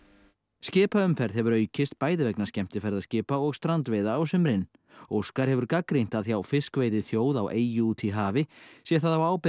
skipaumferð hefur aukist bæði vegna skemmtiferðskipa og strandveiða á sumrin óskar hefur gagnrýnt að hjá fiskveiðiþjóð á eyju úti í hafi sé það á ábyrgð